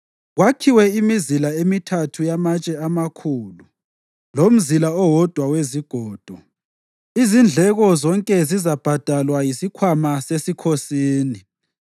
kwakhiwe imizila emithathu yamatshe amakhulu lomzila owodwa wezigodo. Izindleko zonke zizabhadalwa yisikhwama sesikhosini.